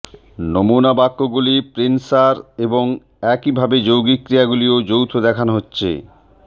নমুনা বাক্যগুলি পেন্সার এবং একইভাবে যৌগিক ক্রিয়াগুলির যৌথ দেখানো হচ্ছে